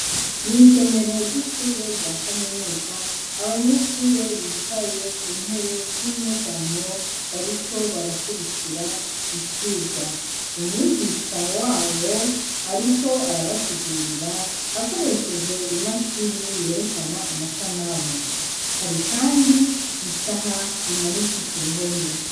Mwisomero ry'ishure rya kaminuza abanyeshure bicaye kuntebe zinyegamo bariko barakwirikira icirwa, umwigisha wabo ariko arabasigurira akoreshej I mashini yerekana amasanamu, hari isaha imanitse kuruhome.